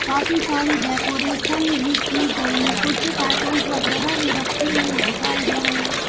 काफी सारी डेकोरेशन भी की गई है कुछ कार्टूंस वगैरा भी रखे हुए दिखाई दे रहे हैं।